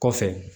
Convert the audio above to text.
Kɔfɛ